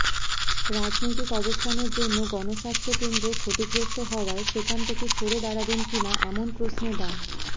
রাজনৈতিক অবস্থানের জন্য গণস্বাস্থ্য কেন্দ্র ক্ষতিগ্রস্ত হওয়ায় সেখান থেকে সরে দাঁড়াবেন কিনা এমন প্রশ্নে ডা